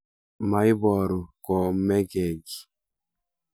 maibooru komekekiy